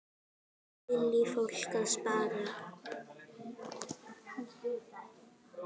Lillý: Fólk að spara?